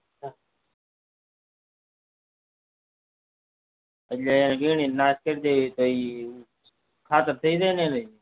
એટલે વેણી ન નાશ કરી દેવી ખાતર થઇ જાય ન એની